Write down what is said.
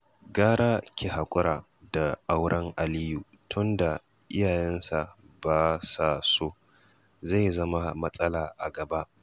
Gara ki haƙura da auren Aliyu tunda iyayensa ba sa so, zai zama matsala a gaba